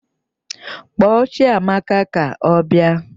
Kpọọ Chiamaka ka ọ bịa!